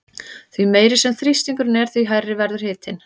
Því meiri sem þrýstingurinn er því hærri verður hitinn.